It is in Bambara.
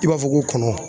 I b'a fɔ ko kɔnɔ